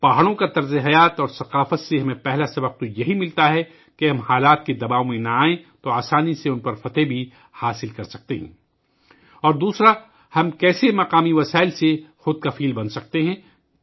پہاڑوں کے رہن سہن اور ثقافت سے پہلا سبق جو ہمیں ملتا ہے ، وہ یہ ہے کہ اگر ہم حالات کے دباؤ میں نہ آئیں تو آسانی سے ان پر قابو پا سکتے ہیں اور دوسرا یہ کہ ہم مقامی وسائل سے خود کفیل کیسے ہو سکتے ہیں